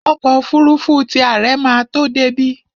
Ọkọ́ òfurufú ti àre ma tó débí.